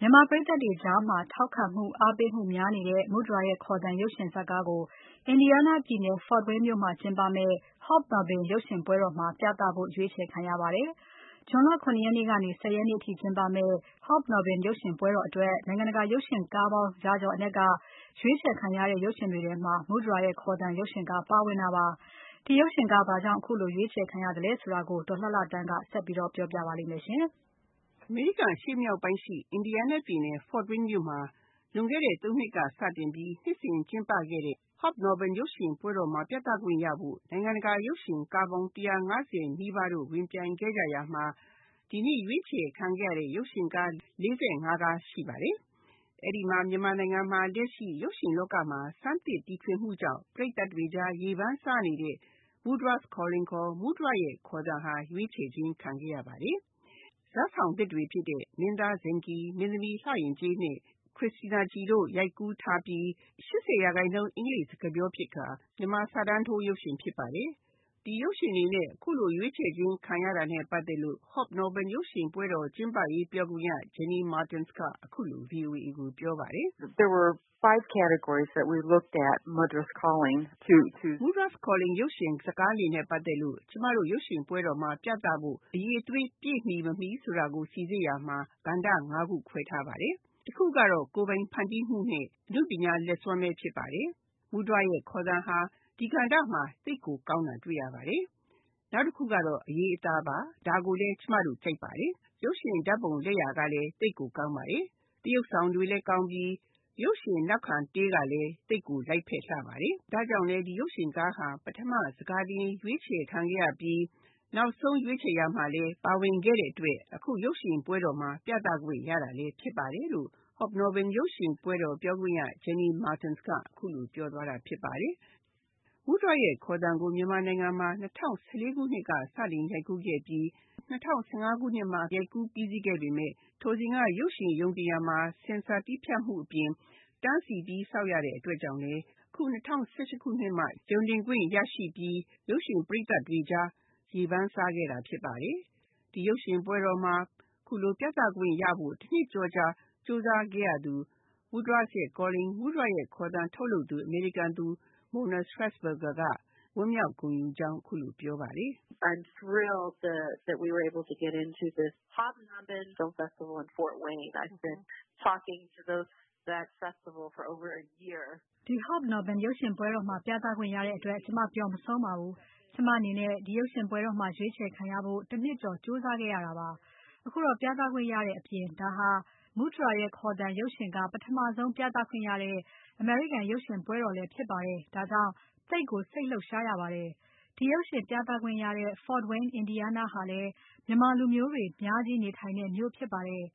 မြန်မာပရိသတ်တွေကြားမှာ အားပေးမှု ထောက်ခံမှုများနေတဲ့ မုဒြာရဲ့ခေါ်သံ ရုပ်ရှင်ဇာတ်ကားကို အင်ဒီယားနားပြည်နယ် ဖို့ဝိန်းမြို့မှာကျင်းပမယ့် Hobnobben ရုပ်ရှင်ပွဲတော်မှာ ပြသဖို့ ရွေးချယ်ခံခဲ့ရပါတယ်။ ဇွန်လ ၇ ရက်နေ့ကနေ ၁၀ ရက်နေ့အထိကျင်းပမယ့် Hobnobben ရုပ်ရှင်ပွဲတော်အတွက် နိုင်ငံတကာ ရုပ်ရှင်ကားပေါင်း ရာကျော်အနက် က ရွေးချယ်ခံရတဲ့ ရုပ်ရှင်တွေထဲမှာ မုဒြာရဲ့ခေါ်သံ ရုပ်ရှင်ကား ပါဝင်တာပါ။ ဒီရုပ်ရှင်ကားဘာကြောင့် ရွေးချယ်ခံရသလဲ ဆိုတာကို ဒေါ်လှလှသန်းက ဆက်ပြီးတော့ ပြောပြပါလိမ့်မယ်။ အမေရိကန်နိုင်ငံ အရှေ့မြောက်ပိုင်းရှိ အင်ဒီယားနားပြည်နယ် ဖို့ဝိန်းမြို့မှာ လွန်ခဲ့တဲ့ သုံးနှစ်ကစပြီး နှစ်စဉ် ကျင်းပခဲ့တဲ့ Hobnobben ရုပ်ရှင်ပွဲတော်မှာ ပြသခွင့်ရဖို့ နိုင်ငံတကာ ရုပ်ရှင်ကားပေါင်း ၁၅၀ နီးပါးတို့ ဝင်ပြိုင်ခဲ့ကြရာမှာ ဒီနှစ်ရွေးချယ်ခံရတဲ့ ရုပ်ရှင်ကား ၄၅ ကား ရှိပါတယ်။ အဲဒီမှာ မြန်မာနိုင်ငံမှာ လက်ရှိရုပ်ရှင်လောကမှာ ဆန်းသစ်တီထွင်မှုကြောင့် ပရိသတ်တွေကြား ရေပန်းစားနေတဲ့ Mudras Calling ခေါ် မုဒြာရဲ့ခေါ်သံ ဟာ ရွေးချယ်ခြင်းခံခဲ့ရပါတယ်။ ဇာတ်ဆောင်သစ်တွေ ဖြစ်တဲ့ မင်းသား ဇဏ်ခီ၊ မင်းသမီး လှယဉ်ကျေးနဲ့ ခရစ်တီးနားခီတို့ ရိုက်ကူးထားပြီး ၈၀ ရာခိုင်နှုန်း အင်္ဂလိပ်စကားပြော ဖြစ်ခါ မြန်မာစာတန်းထိုး ရုပ်ရှင် ဖြစ်ပါတယ်။ ဒီရုပ်ရှင် အနေနဲ့ အခုလို ရွေးချယ်ခြင်း ခံရတာနဲ့ ပတ်သက်လို့ Hobnobben ရုပ်ရှင်ပွဲတော် ကျင်းပရေး ပြောခွင့်ရ Jenny Martin က အခုလို ပြောပါတယ်။ “ Mudras Calling ရုပ်ရှင်ဇာတ်ကားနဲ့ ပတ်သက်လို့ ကျမတို့ ရုပ်ရှင် ပွဲတော်မှာ ပြသဖို့ အရည်အသွေး ပြည့်မီ မမီ ဆိုတာကို စိစစ်ရာမှာ ကဏ္ဍ ၅ ခုခွဲထားပါတယ်။ တခုကတော့ ကိုယ်ပိုင်ဖန်တီးမှုနဲ့အနုပညာ လက်စွမ်းဘဲ ဖြစ်ပါတယ်။ မုဒြာရဲ့ ခေါ်သံဟာ ဒီကဏ္ဍမှာ သိပ်ကို ကောင်းတာ တွေ့ရပါတယ်။ နောက်တခုကတော့ အရေးအသားပါ။ ဒါကိုလည်း ကျမတို့ ကြိုက်ပါတယ်။ ရုပ်ရှင် ဓာတ်ပုံ လက်ရာကလည်း သိပ်ကို ကောင်းပါတယ်။သရုပ်ဆောင်တွေလည်း ကောင်းပြီး ရုပ်ရှင်နောက်ခံတေးကလည်း သိပ်ကို လိုက်ဖက်လှပါတယ်။ ဒါကြောင့်လည်း ဒီရုပ်ရှင်ကားဟာ ပထမ ဆန်ခါတင် ရွေးချယ်ခံခဲ့ရပြီး နောက်ဆုံး ရွေးချယ်ရာမှာလည်း ပါဝင်ခဲ့တဲ့ အတွက် အခု ရုပ်ရှင်ပွဲတော်မှာ ပြသခွင့် ရတာလည်း ဖြစ်ပါတယ် ” လို့ Hobnobben ရုပ်ရှင်ပွဲတော် ပြောခွင့်ရ Jenny Martin က အခုလို ပြောသွားတာ ဖြစ်ပါတယ်။ မုဒြာရဲ့ ခေါ်သံကို မြန်မာနိုင်ငံမှာ ၂၀၁၄ ခုနှစ်က စတင်ရိုက်ကူးခဲ့ပြီး ၂၀၁၅ ခုနှစ်မှာ ရိုက်ကူး ပြီးစီးခဲ့ပြီး ပေမယ့် ထိုစဉ်က ရုပ်ရှင်ရုံတင်ရာမှာ ဆင်ဆာ တည်းဖြတ်မှု အပြင် တန်းစီပြီး စောင့်ရတဲ့ အတွက်ကြောင့်လည်း အခု ၂၀၁၈ ခုနှစ်မှ ရုံတင်ခွင့် ရရှိပြီး ရုပ်ရှင် ပရိသတ်တွေကြား ရေပန်းစားခဲ့တာ ဖြစ်ပါတယ်။ ဒီရုပ်ရှင်ပွဲတော်မှာ ဒီလို ပြသခွင့်ရဖို့ တနှစ်ကျော်ကြာ ကြိုးစားခဲ့ရသူ Mudras Calling မုဒြာရဲ့ ခေါ်သံ ထုတ်လုပ်သူ အမေရိကန်သူ Mona Strassburger က ဝမ်းမြောက်ဂုဏ်ယူကြောင်း အခုလို ပြောပါတယ်။ “ ဒီ Hobnobben ရုပ်ရှင်မှာ ပြသခွင့် ရတဲ့ အတွက် ကျမ ပျော်မဆုံးပါဘူး။ ကျမ အနေနဲ့ ဒီရုပ်ရှင်ပွဲတော်မှာ ရွေးချယ်ခံရဖို့ တနှစ်ကျော် ကြိုးစားခဲ့ရတာပါ။ အခုတော့ ပြသခွင့်ရတဲ့ အပြင် ဒါဟာ မုဒြာရဲ့ ခေါ်သံ ပထမဆုံး ပြသခွင့် ရတဲ့ အမေရိကန် ရုပ်ရှင်ပွဲတော်လည်း ဖြစ်ပါတယ်။ ဒါကြောင့် သိပ်ကို စိတ်လှုပ်ရှား ရပါတယ်။ ဒီရုပ်ရှင် ပြသခွင့်ရတဲ့ ဖို့ဝိန်း အင်ဒီးယားနား ဟာလည်း မြန်မာ လူမျိုးတွေ အများကြီး နေထိုင်တဲ့မြို့ ဖြစ်ပါတယ်။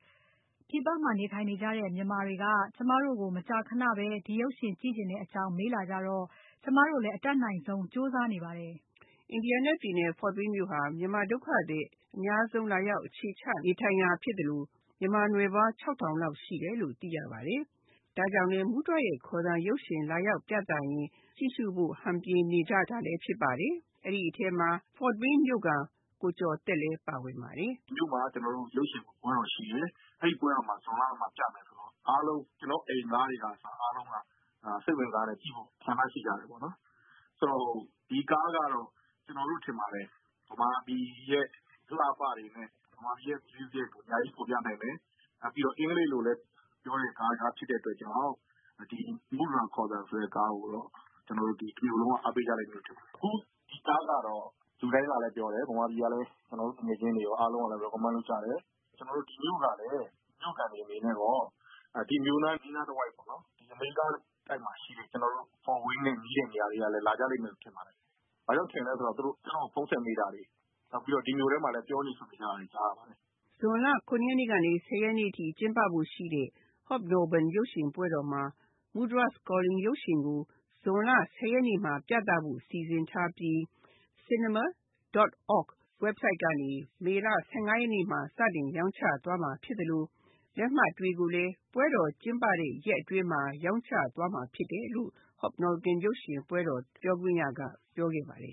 ပြည်ပမှာ နေထိုင်နေကြတဲ့ မြန်မာတွေက ကျမတို့ကို မကြာခဏဘဲ ဒီရုပ်ရှင် ကြည့်ချင်တဲ့ အကြောင်း မေးလာကြတော့ ကျမတို့လည်း အတတ်နိုင်ဆုံး ကြိုးစားနေပါတယ်။ ” အင်ဒီးယားနား ပြည်နယ် ဖို့ဝိန်းမြို့ဟာ မြန်မာ ဒုက္ခသည် အများဆုံး လာရောက် အခြေချ နေထိုင်ရာ ဖြစ်သလို မြန်မာနွယ်ဖွား ၆ ထောင်လောက် ရှိတယ်လို့ သိရပါတယ်။ ဒါကြောင့်လည်း မုဒြာရဲ့ ခေါ်သံ ရုပ်ရှင် လာရောက်ပြသရင် ကြည့်ရှုဖို့ ဟန်ပြင်နေကြတာလည်း ဖြစ်ပါတယ်။ အဲဒီထဲမှာ ဖို့ဝိန်းမြို့ခံ ကိုကျော်သက်လည်း ပါဝင်ပါတယ်။ “ ဒီမြို့မှာ ကျနော်တို့လည်း ရုပ်ရှင်ပွဲတော် ရှိတယ်။ အဲဒီ ပွဲတော်မှာ ဇွန်လမှာ ပြမယ်ဆိုတော့ ကျနော်တို့ အားလုံး ကျနော်တို့ အိမ်သားတွေက အစ အားလုံးက စိတ်ဝင်တစားနဲ့ ကြည့်ဖို့ ဆန္ဒ ရှိကြတယ်ပေါ့နော်။ ဆိုတော့ ဒီကားကတော့ ကျနော်တို့ ထင်ပါတယ် ဗမာပြည်ရဲ့ အလှအပတွေနဲ့ ဗမာပြည်ရဲ့ မြူးဇစ်ကို အများကြီး ဖော်ပြနိုင်မယ်။ နောက်ပြီးတော့လည်း အင်္ဂလိပ်လိုလည်း ပြောတဲ့ ကားတကား ဖြစ်တဲ့ အတွက်ကြောင့် ဒီ မုဒြာ ခေါ်သံဆိုတဲ့ ကားကိုတော့ တမြို့လုံးက အားပေးကြမယ်လို့ ထင်ပါတယ်။ အခုကားကတော့ လူတိုင်းကလည်း ပြောတယ် ဗမာပြည်က သူငယ်ချင်းတွေ အားလုံးကလည်း Recommend လုပ်ကြတယ်။ ကျနော်တို့ ဒီမြို့ကလည်း မြို့ခံတွေကရော ဒီမြို့နား အနီးတဝိုက်ကရော အမေရိကတိုက်မှာ ရှိတဲ့ ကျနော်တို့ ဖို့ဝိန်းနဲ့ နီးတဲ့ နေရာကလည်း လာကြလိမ့်မယ်လို့ ထင်ပါတယ်။ ဘာဖြစ်လို့ ထင်တာလဲ ဆိုတော့ သူတို့ ကျနော့်ကို ဖုန်းဆက်မေးကြတာတွေ၊ နောက်ပြီးတော့ ဒီမြို့ထဲမှာတင် ပြောနေဆိုနေကြတာတွေ ကြားတယ်။ ” ဇွန်လ ၇ ရက်နေ့ကနေ ၁၀ ရက်နေ့ အထိ ကျင်းပဖို့ ရှိတဲ့ Hobnobben ရုပ်ရှင်ပွဲတော်မှာ Mudras Calling ရုပ်ရှင်ကို ဇွန်လ ၁၀ ရက်နေ့မှာ ပြသဖို့စီစဉ်ထားပြီး cinemacenter.org ဝက်ဘ်ဆိုဒ်ကနေ မေလ ၁၇ ရက်နေ့မှာ စတင်ရောင်းချသွားမှာ ဖြစ်သလို လက်မှတ်တွေကိုလည်း ပွဲတော်ကျင်းပတဲ့ ရက် အတွင်းမှာ ရောင်းချသွားမှာ ဖြစ်တယ်လို့ Hobnobben ရုပ်ရှင် ပြောခွင့်ရက ပြောခဲ့ပါတယ်